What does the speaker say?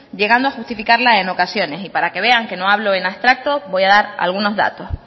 llegando a justificarla en ocasiones y para que vean que no hablo en abstracto voy a dar algunos datos